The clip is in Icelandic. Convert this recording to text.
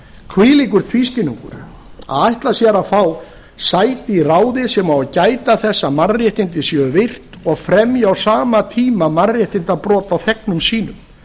hvílíkur tvískinnungur að ætla sér að fá sæti í ráði sem á að gæta þess að mannréttindi séu virt og fremja á sama tíma mannréttindabrot á þegnum sínum